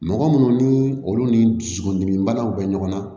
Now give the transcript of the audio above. Mɔgɔ munnu ni olu ni dusukun dimi banaw bɛ ɲɔgɔn na